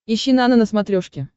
ищи нано на смотрешке